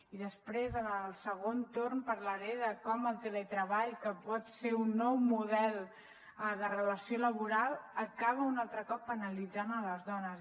i després en el segon torn parlaré de com el teletreball que pot ser un nou model de relació laboral acaba un altre cop penalitzant les dones